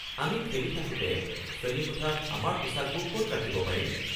আমি খেলি থাকোতে শ্ৰেণীকোঠাত আমাৰ পোছাকবোৰ ক'ত ৰাখিব পাৰিম?